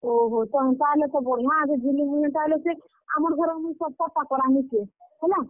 ଓହୋ, ତ ହେନ୍ତା ହେଲେ ତ ବଢିଆ ଏ ରେ ଜୁଲି, ମୁଇଁ ହେନ୍ତା ହେଲେ ସେ, ଆମର୍ ଘରର୍ ମୁଇଁ ସବ୍ କର୍ ଟା କରାମି ସେ, ହେଲା?